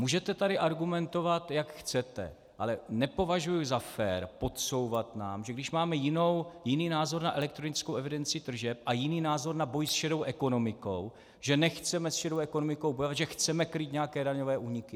Můžete tady argumentovat, jak chcete, ale nepovažuji za fér podsouvat nám, že když máme jiný názor na elektronickou evidenci tržeb a jiný názor na boj s šedou ekonomikou, že nechceme s šedou ekonomikou bojovat, že chceme krýt nějaké daňové úniky.